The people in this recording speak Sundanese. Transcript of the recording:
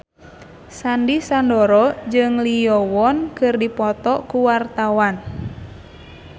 Sandy Sandoro jeung Lee Yo Won keur dipoto ku wartawan